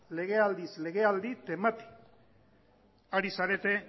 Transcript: legealdiz legealdi temati ari zarete